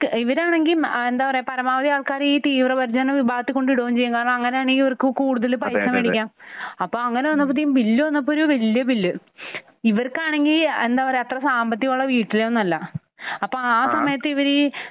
ഇവർ ആണെങ്കിൽ എന്താ പറയാ പരമാവധി ആൾക്കാരെ ഈ തീവ്രപരിചരണ വിഭാഗത്തിൽ കൊണ്ട് ഇടുകയും ചെയ്യും.